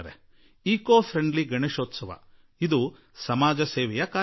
ಪರಿಸರ ಸ್ನೇಹಿ ಗಣೇಶೋತ್ಸವ ಕೂಡಾ ಸಮಾಜ ಸೇವೆಯ ಒಂದು ಕೆಲಸವಾಗಿದೆ